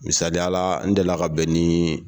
Misaliya la n delila ka bɛn ni